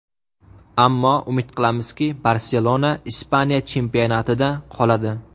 Ammo umid qilamizki, ‘Barselona’ Ispaniya chempionatida qoladi.